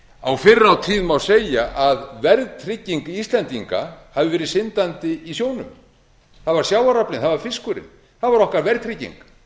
hendi fyrr á tíð má segja að verðtrygging íslendinga hafi verið syndandi í sjónum það var sjávaraflinn það var fiskurinn það var okkar verðtrygging